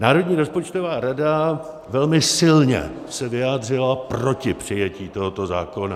Národní rozpočtová rada velmi silně se vyjádřila proti přijetí tohoto zákona.